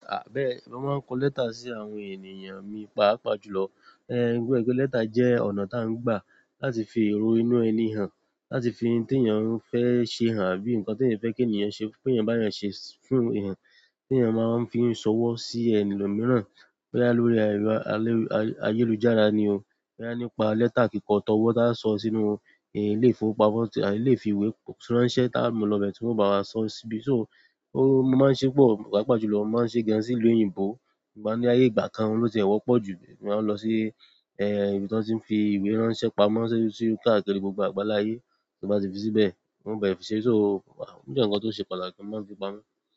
Mo máa ń kọ lẹ́tà sí àwọn ènìyàn mi, pàápàá jùlọ. Lẹ́tà jẹ́ ọ̀nà tí à ń gbà láti fi èrò inú ẹni hàn, láti fi ohun tí èèyàn fẹ́ ṣe hàn, àbí nǹkan tí èèyàn fẹ́ kí èèyàn ṣe, pé èèyàn bá yàn ṣe fún èèyàn. Tí èèyàn máa ń fi sọwọ́ sí ẹlòmìíràn, bóyá lórí ẹrọ ayélujára ni o, bóyá nípa lẹ́tà kíkọ tọwọ́ tí a sọ sínú ilè ifi ìwé ránṣẹ́ tá a mu lọ bẹ ti wọn bá wá sọ síbi. So mo máa ń ṣe pọ̀, pàápàá jùlọ mo máa ń ṣe gan sí ìlú òyìnbó. Ṣùgbọ́n ní ayé ìgbà kan ohun ló tì ẹ wọ́pọ̀ jù, máa lọ sí ibi tí wọ́n ti ń fi ìwé ránṣẹ́ pamọ́ káàkiri gbogbo àgbáláyé. Tí i bá ti fi síbẹ̀, wọ́n o bá fi ṣíṣe so o jẹ́ nǹkan tó ṣe pàtàkì mo maa fi pamọ́.